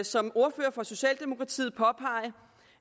som ordfører for socialdemokratiet påpege